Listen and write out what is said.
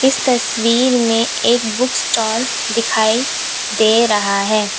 इस तस्वीर में एक बुक स्टॉल दिखाई दे रहा है।